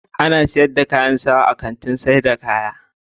Ana sayar da kayan sawa a Kantin sayar da kaya.